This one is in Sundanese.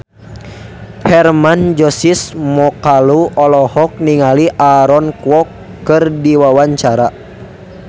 Hermann Josis Mokalu olohok ningali Aaron Kwok keur diwawancara